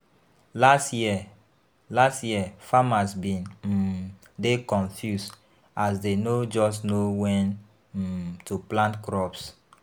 Last year, Last year, farmers bin um dey confused as dey no just know wen um to plant crops.